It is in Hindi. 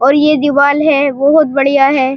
और ये दीवाल है। बहोत बढ़िया है।